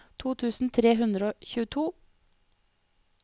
to tusen tre hundre og tjueto